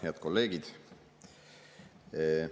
Head kolleegid!